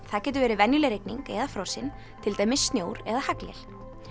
það getur verið venjuleg rigning eða frosin til dæmis snjór eða haglél